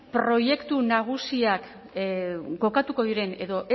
proiektu nagusiak kokatuko diren edo